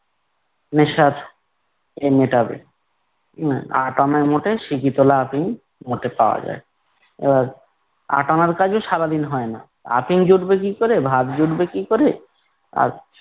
নেশার ইয়ে মেটাবে, উম আট আনায় মোটে সিকি তলা আফিম মোটে পাওয়া যায়। এবার আট আনার কাজও সারাদিন হয় না, আফিম জুটবে কি করে ভাত জুটবে কি করে, আর